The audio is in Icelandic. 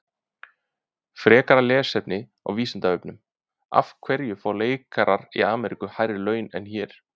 Frekara lesefni á Vísindavefnum: Af hverju fá leikarar í Ameríku hærri laun en hér?